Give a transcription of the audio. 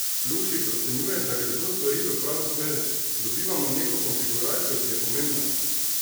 Lukšič ocenjuje, da gredo stvari v pravo smer: 'dobivamo neko konfiguracijo, ki je pomembna'.